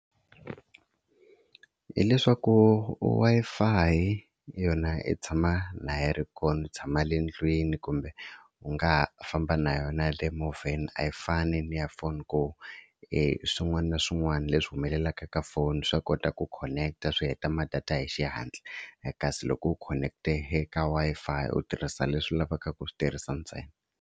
Hi leswaku Wi-Fi yona yi tshama na yi ri kona ni tshama le ndlwini kumbe u nga ha famba na yona le movheni a yi fani ni ya foni ku e swin'wana na swin'wana leswi humelelaka ka foni swa kota ku khoneketa swi heta ma data hi xihatla kasi loko u khoneketa eka Wi-Fi u tirhisa leswi u lavaka ku swi tirhisa ntsena.